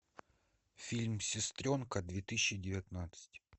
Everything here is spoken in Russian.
фильм сестренка две тысячи девятнадцать